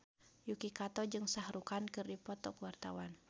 Yuki Kato jeung Shah Rukh Khan keur dipoto ku wartawan